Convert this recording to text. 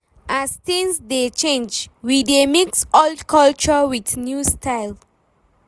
As tins dey change, we dey mix old culture wit new style